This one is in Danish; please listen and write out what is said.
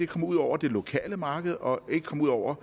kommer ud over det lokale marked og ikke kommer ud over